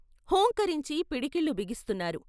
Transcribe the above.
హూంకరించి పిడికిళ్ళు బిగిస్తున్నారు.